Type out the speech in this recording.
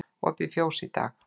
Opið fjós í dag